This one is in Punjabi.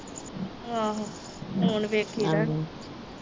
ਆਹੋ ਫੋਨ ਵੇਖੀ ਦਾ ਨੀ